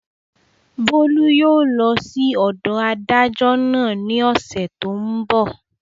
Bólú yóò lọ sí ọ̀dọ̀ adájọ́ náà ní ọ̀sẹ̀ tó n bọ̀